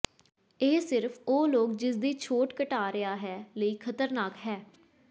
ਇਹ ਸਿਰਫ ਉਹ ਲੋਕ ਜਿਸ ਦੀ ਛੋਟ ਘਟਾ ਰਿਹਾ ਹੈ ਲਈ ਖ਼ਤਰਨਾਕ ਹੈ